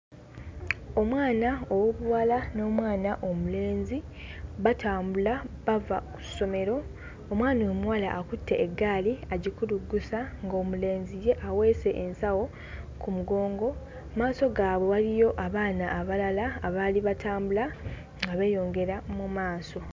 Omwana ow'obuwala n'omwana omulenzi batambula bava ku ssomero omwana omuwala akutte eggaali agikuluggusa ng'omulenzi ye aweese ensawo ku mugongo mmaaso gaabwe waliyo abaana abalala abaali batambula nga beeyongera mu maaso.